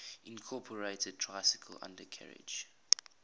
incorporated tricycle undercarriage